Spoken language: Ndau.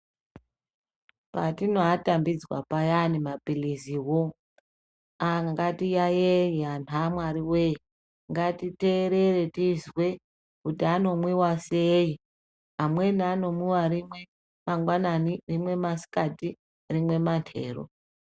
Patinoatambidzwa payani maphirizivo ngatiyayeye vantu amwarive. Ngatiterere tizwe kuti anomwiva sei amweni anomwiva rimwe mangwanani, rimwe masikati rimwe materu.